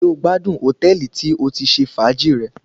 Ṣé o gbádùn hòtẹ́ẹ̀lì tí o ti ṣe fàájì rẹ?